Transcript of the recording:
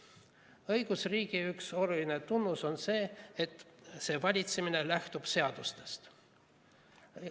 Õigusriigi üks oluline tunnus on see, et see valitsemine lähtub seadustest.